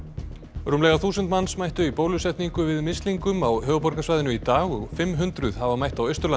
rúmlega þúsund manns mættu í bólusetningu við mislingum á höfuðborgarsvæðinu í dag og fimm hundruð hafa mætt á Austurlandi